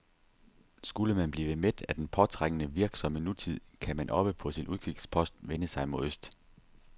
Skulle man blive mæt af den påtrængende, virksomme nutid, kan man oppe på sin udkigspost vende sig mod øst.